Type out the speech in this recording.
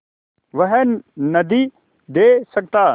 वह नदीं दे सकता